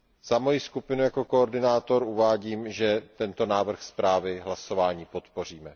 Za moji skupinu jako koordinátor uvádím, že tento návrh zprávy v hlasování podpoříme.